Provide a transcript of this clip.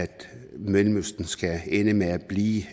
mellemøsten skal ende med at blive